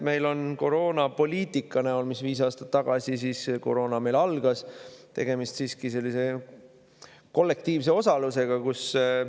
Meil oli koroonapoliitika näol – viis aastat tagasi koroona meil algas – tegemist siiski kollektiivse osalusega.